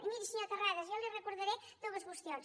i miri senyor terrades jo li recordaré dues qüestions